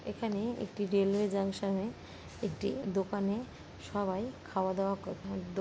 एख हानि एक ठे रेलवे जंक्सन